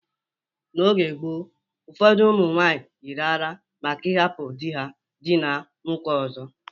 N’oge gboo, ụfọdụ ụmụ nwaanyị yiri àrá maka ịhapụ di ha diina nwoke ọzọ.